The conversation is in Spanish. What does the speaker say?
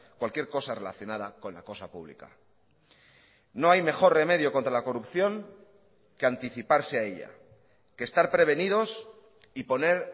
cualquier cosa relacionada con la cosa pública no hay mejor remedio contra la corrupción que anticiparse a ella que estar prevenidos y poner